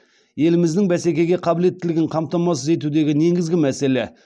еліміздің бәсекеге қабілеттілігін қамтамасыз етудегі негізгі мәселе